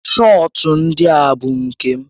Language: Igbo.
Shọọtụ ndịa bụ nke m